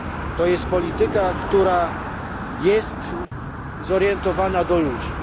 To jest polityka, która jest zorientowana na ludzi.